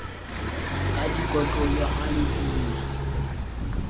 ka dikotlolo ha le ina